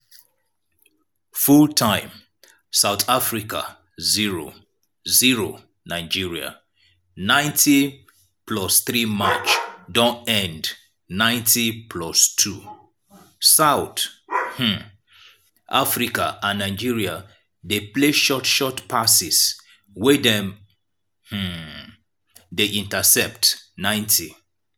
full time south africa 0-0 nigeria 90+3 match don end 90+2 south um africa and nigeria dey play short short passes wey dem um dey intercept 90'